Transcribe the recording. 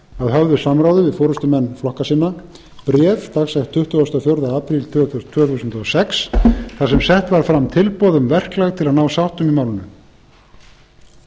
að höfðu samráði við forustumenn flokkanna bréf dagsett tuttugasta og fjórða apríl tvö þúsund og sex þar sem sett var fram tilboð um verklag til að ná sáttum í málinu í